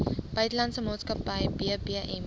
buitelandse maatskappy bbm